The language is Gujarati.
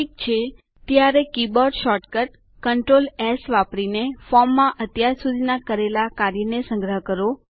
સારું ત્યારે કીબોર્ડ શૉર્ટકટ કન્ટ્રોલ એસ વાપરીને ફોર્મમાં અત્યાર સુધી કરેલા કાર્યને સંગ્રહ કરો